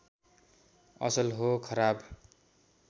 असल हो खराब